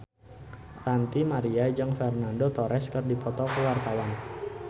Ranty Maria jeung Fernando Torres keur dipoto ku wartawan